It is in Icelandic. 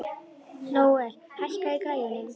Nóel, hækkaðu í græjunum.